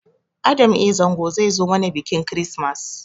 Adam a. Zango zai zo mana biƙin kirismas